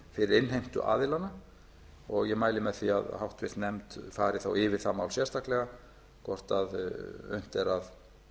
fyrir innheimtuaðilana og ég mæli með því að háttvirtur nefnd fari þá yfir það mál sérstaklega hvort unnt er að